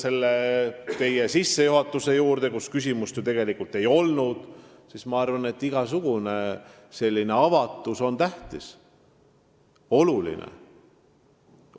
Tulles teie küsimuse sissejuhatuse juurde – küsimust ju tegelikult ei olnud –, siis ma arvan, et igasugune avatus on tähtis ja oluline.